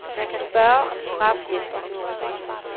Man kan spørge, om straf hjælper.